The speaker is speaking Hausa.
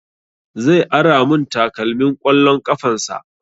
Zai ara mun takalmin ƙwallon ƙafan sa